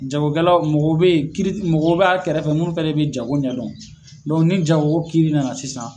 Jagokɛlaw mɔgɔ be yen kiri mɔgɔ b'a kɛrɛfɛ minnu fana de bɛ jago ɲɛdɔn dɔn ni jago kiri nana sisan.